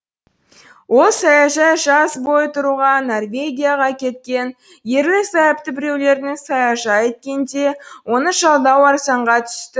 ол саяжай жаз бойы тұруға норвегияға кеткен ерлі зайыпты біреулердің саяжайы екен де оны жалдау арзанға түсті